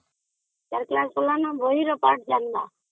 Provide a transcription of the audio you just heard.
class ଗଲେ ଖାଲି ବହିର ପାଠ ଜାଣିବ